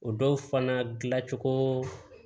O dɔw fana dilancogo